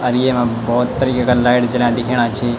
और येमा बहौत तरीके का लाइट जल्यां दिखेणा छी।